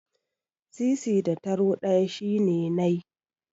Sisi da taro ɗaya shine nai.